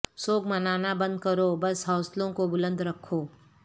سوگ منانا بند کرو بس حوصلوں کو بلند رکھو